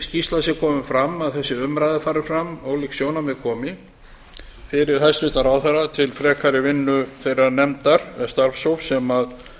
skýrsla er komin fram að þessi umræða fari fram ólík sjónarmið komi fyrir hæstvirtan ráðherra til frekari vinnu þeirrar nefndar eða starfshóps sem